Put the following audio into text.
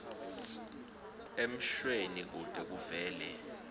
emshweni kute kuvele